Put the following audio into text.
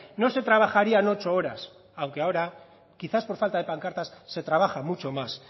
no se trabajarían ocho horas aunque ahora quizás por falta de pancartas se trabaja mucho más